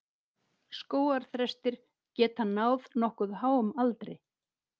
Skógarþrestir geta náð nokkuð háum aldri.